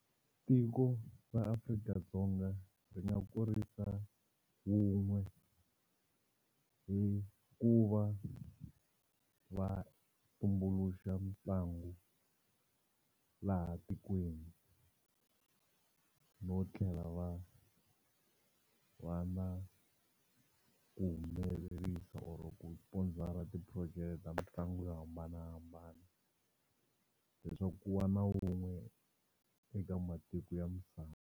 Tiko ra Afrika-Dzonga ri nga kurisa wun'we hi ku va va tumbuluxa mitlangu laha tikweni no tlhela va va na ku humelerisa or-o ku sponsor-a ti-project ta mitlangu yo hambanahambana leswaku ku va na wun'we eka matiko ya misava.